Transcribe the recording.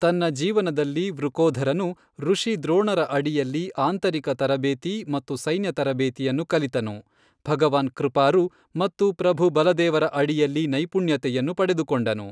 ತನ್ನ ಜೀವನದಲ್ಲಿ ವೃಕೋಧರನು, ರುಷಿ ದ್ರೋಣರ ಅಡಿಯಲ್ಲಿ ಆಂತರಿಕ ತರಬೇತಿ ಮತ್ತು ಸೈನ್ಯ ತರಬೇತಿಯನ್ನು ಕಲಿತನು, ಭಗವಾನ್ ಕೃಪಾರು ಮತ್ತು ಪ್ರಭು ಬಲದೇವರ ಅಡಿಯಲ್ಲಿ ನೈಪುಣ್ಯತೆಯನ್ನು ಪಡೆದುಕೊಂಡನು.